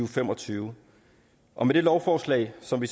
fem og tyve og med det lovforslag som vi